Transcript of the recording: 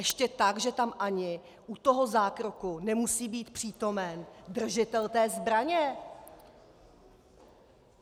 Ještě tak, že tam ani u toho zákroku nemusí být přítomen držitel té zbraně!